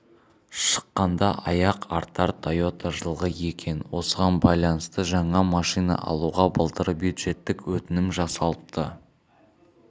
шыққанда аяқ артар тойота жылғы екен осыған байланысты жаңа машина алуға былтыр бюджеттік өтінім жасалыпты